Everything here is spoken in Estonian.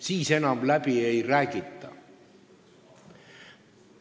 Siis enam läbi ei räägita.